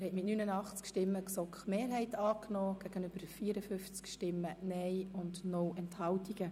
Sie haben mit 89 Ja- gegen 54-Nein-Stimmen bei 0 Enthaltungen den Antrag der GSoK-Mehrheit angenommen.